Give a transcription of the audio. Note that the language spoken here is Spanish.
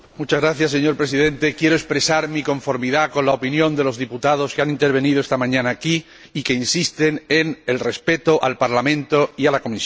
Señor Presidente, quiero expresar mi conformidad con la opinión de los diputados que han intervenido esta mañana aquí y que insisten en el respeto al Parlamento y a la Comisión.